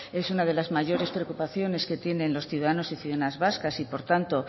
es una de las mayores preocupaciones que tienen los ciudadanos y ciudadanas vascas y por tanto